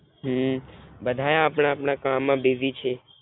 હમ ભધાય અપના અપના કામમાં બિજીછે.